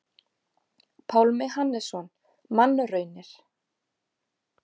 Pálmi Hannesson: Mannraunir.